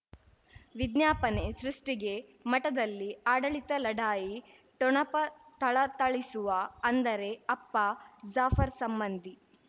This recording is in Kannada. ವಿಜ್ಞಾಪನೆ ಸೃಷ್ಟಿಗೆ ಮಠದಲ್ಲಿ ಆಡಳಿತ ಲಢಾಯಿ ಠೊಣಪ ಥಳಥಳಿಸುವ ಅಂದರೆ ಅಪ್ಪ ಜಾಫರ್ ಸಂಬಂಧಿ